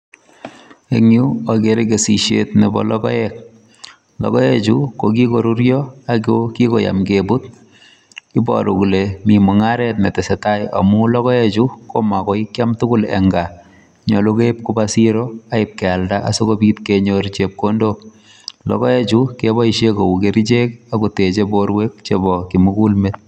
Eng Yuu agere kesisiet nebo logoek logoek chuu ko kikoruria ako kikoyaam kebuut iboruu kole Mii mungaret ne tesetai amuun logoek chuu koma koi kiam tugul en gaah nyaluu keib kobaa siroo ibaak keyaldaa asikenyoor chepkondook logoek chuu kebaisheen kou kercheek ako techei boruek met.